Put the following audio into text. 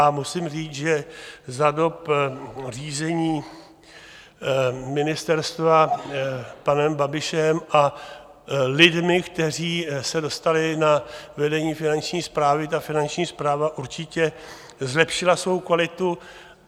A musím říct, že za dob řízení ministerstva panem Babišem a lidmi, kteří se dostali na vedení Finanční správy, ta Finanční správa určitě zlepšila svou kvalitu.